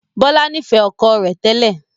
Bọlá nifẹ ọkọ rẹ tẹ́lẹ̀